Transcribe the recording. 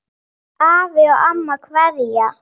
Afi og amma kveðja